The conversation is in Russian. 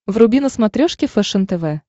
вруби на смотрешке фэшен тв